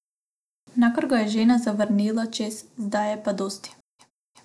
Nakar ga je žena zavrnila, češ, zdaj je pa dosti.